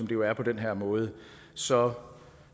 jo er på den her måde så